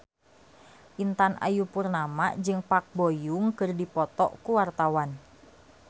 Intan Ayu Purnama jeung Park Bo Yung keur dipoto ku wartawan